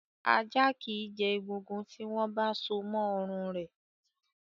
Ajá kì í jẹ egungun, tí wọ́n so mọ́ ọrùn rẹ̀.